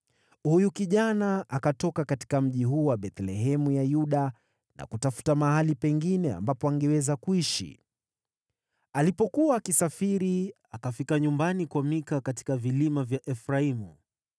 Huyu kijana akatoka katika mji huo wa Bethlehemu ya Yuda na kutafuta mahali pengine ambapo angeweza kuishi. Alipokuwa akisafiri, akafika nyumbani kwa Mika katika vilima vya Efraimu.